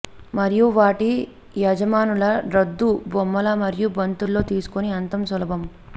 మరియు వాటి యజమానులు రద్దు బొమ్మలు మరియు బంతుల్లో తీసుకుని అంత సులభం